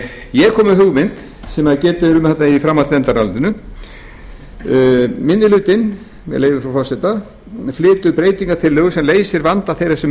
ég kom með hugmynd sem getið er um í framhaldsnefndarálitinu minni hlutinn flytur breytingartillögu sem leysir vanda þeirra sem